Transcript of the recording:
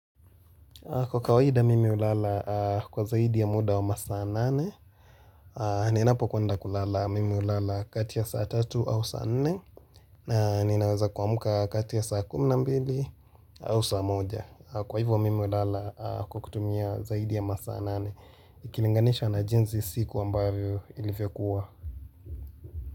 Kwa kawaida mimi ulala kwa zaidi ya muda wa masaa nane, ninapo kwenda kulala mimi ulala kati ya saa tatu au saa nne, na ninaweza kuamka kati ya saa kumi na mbili au saa moja. Kwa hivyo mimi ulala kwa kutumia zaidi ya masaa nane, ikilinganisha na jinzi siku ambavyo ilivyokuwa.